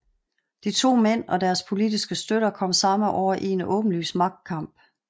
De to mænd og deres politiske støtter kom samme år i en åbenlys magtkamp